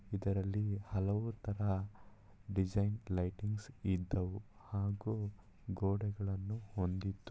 ಇದ್ರಲ್ಲಿ ಹಲವಾರು ತರ ಡಿಸೈನ್‌ ಲೈಟಿಂಗ್ಸ್‌ ಇದ್ದವು ಹಾಗೂ ಗೋಡೆಗಳನ್ನು ಹೊಂದಿದ್ದು.